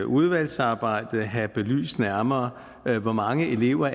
udvalgsarbejdet have belyst nærmere hvor mange elever